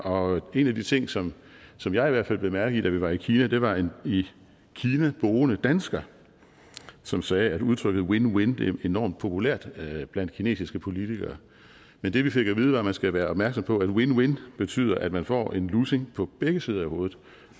og en af de ting som som jeg i hvert fald bemærkede da vi var i kina var en i kina boende dansker som sagde at udtrykket win win win er enormt populært blandt kinesiske politikere men det vi fik at vide var at man skulle være opmærksom på at win win betyder at man får en lussing på begge sider af hovedet